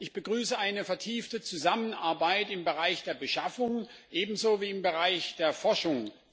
Ich begrüße eine vertiefte Zusammenarbeit im Bereich der Beschaffung ebenso wie im Bereich der Forschung.